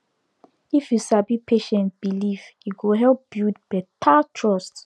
if you sabi patient belief e go help build better trust